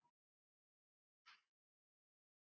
Þín rödd skiptir líka máli.